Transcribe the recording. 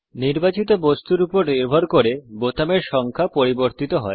নির্বাচিত বস্তুর উপর নির্ভর করে বোতামের সংখ্যা পরিবর্তিত হয়